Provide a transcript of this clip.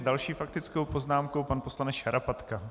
S další faktickou poznámkou pan poslanec Šarapatka.